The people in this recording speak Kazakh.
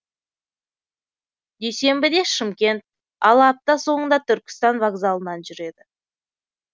дүйсенбіде шымкент ал апта соңында түркістан вокзалынан жүреді